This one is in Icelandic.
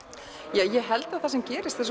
ég held að það sem gerist er